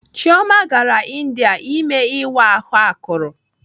Ijeoma gara India ime ịwa ahụ akụrụ.